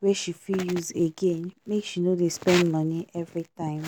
wey she fit use again make she no dey spend money every time.